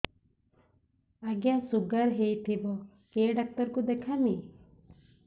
ଆଜ୍ଞା ଶୁଗାର ହେଇଥିବ କେ ଡାକ୍ତର କୁ ଦେଖାମି